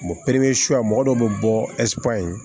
mɔgɔ dɔw bɛ bɔ in